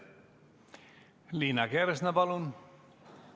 Liina Kersna, palun!